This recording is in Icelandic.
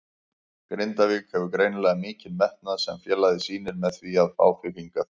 Grindavík hefur greinilega mikinn metnað sem félagið sýnir með því að fá þig hingað?